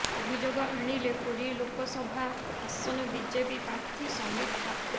ଅଭିଯୋଗ ଆଣିଲେ ପୁରୀ ଲୋକସଭା ଆସନ ବିଜେପି ପ୍ରାର୍ଥୀ ସମ୍ବିତ ପାତ୍ର